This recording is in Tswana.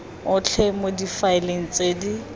otlhe mo difaeleng tse di